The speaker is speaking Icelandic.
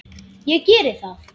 Ég geri það.